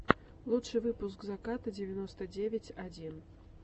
лучший выпуск заката девяносто девять один